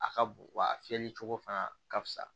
A ka bon wa a fiyɛli cogo fana ka fisa